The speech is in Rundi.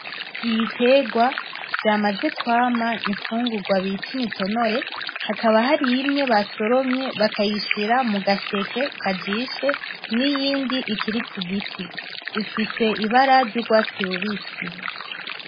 Ibiterwa vyamaze kwama imfungurwa bita imitonore hakaba harimwe basoromye bakayishira mugaseke kajishe, niyindi ikiri kugiti ifise ibara ryurwatsi rubisi.